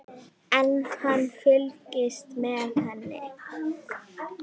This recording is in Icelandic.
En hann fylgist með henni.